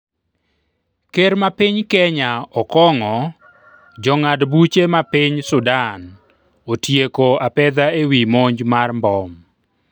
Ker ma piny Kenya Okong'o jong'ad buche ma piny Sudan otieko apedha ewi monj mar mbom